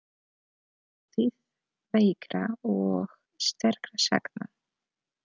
Þátíð veikra og sterkra sagna.